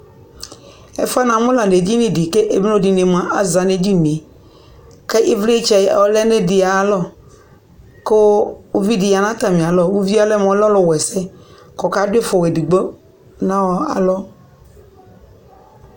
ɛƒʋɛ namʋ la nʋ ɛdini di kʋɛmlɔdini mʋa aza nʋ ɛdiniɛ kʋ ivlitsɛ ɔlɛnʋ ɛdi ayialɔ kʋ ʋvidi yanʋ atami alɔ, ʋviɛ ɔlɛmʋ ɔlʋ wɛsɛ kʋ ɔka dʋ ifɔ wanʋ ɛdigbɔ alɔ